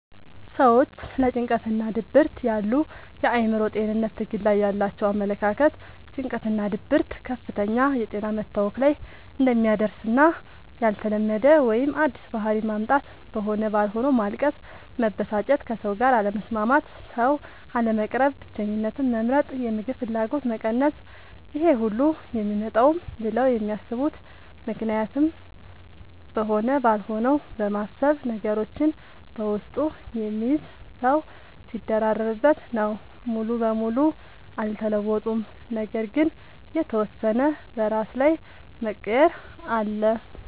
ሰዎች ስለ ጭንቀትናድብርት ያሉ የአእምሮ ጤንነት ትግል ላይ ያላቸው አመለካከት ጭንቀትናድብርት ከፍተኛ የጤና መታወክ ላይ እንደሚያደርስና ያልተለመደ ወይም አዲስ ባህሪ ማምጣት(በሆነ ባልሆነዉ ማልቀስ፣ መበሳጨት፣ ከሰዉጋር አለመስማማት፣ ሰዉ፣ አለመቅረብ፣ ብቸኝነትን መምረጥ፣ የምግብ ፍላገጎት መቀነስ....) ይሄሁሉ የሚመጣውም ብለው የሚያስቡት ምክንያትም በሆነ ባልሆነው በማሰብ፤ ነገሮችን በውስጡ የሚይዝ ሰዉ ሲደራረብበት... ነው። ሙሉ በሙሉ አልተለወጡም ነገር ግን የተወሰነ በራስ ላይ መቀየር አለ።